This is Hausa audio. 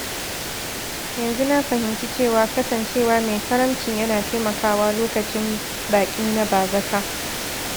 Yanzu na fahimci cewa kasancewa mai karamci yana taimakawa lokacin baƙi na bazata.